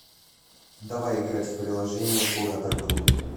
давай играть в приложение куратор буду